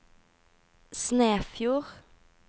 Snefjord